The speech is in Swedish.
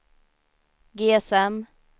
GSM